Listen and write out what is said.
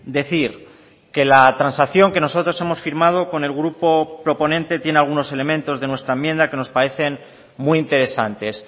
decir que la transacción que nosotros hemos firmado con el grupo proponente tiene algunos elementos de nuestra enmienda que nos parecen muy interesantes